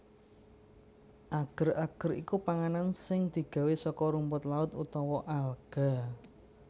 Ager ager iku panganan sing digawé saka rumput laut utawa alga